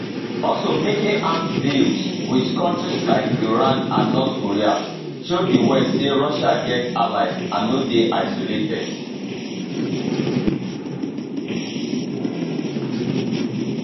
also making arms deals with countries like iran and north korea show di west say russia get allies and no dey isolated